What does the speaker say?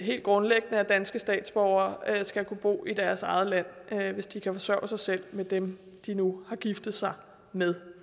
helt grundlæggende at danske statsborgere skal kunne bo i deres eget land hvis de kan forsørge sig selv med dem de nu har giftet sig med